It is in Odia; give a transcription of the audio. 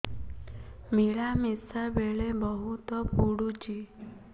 ମିଳାମିଶା ବେଳେ ବହୁତ ପୁଡୁଚି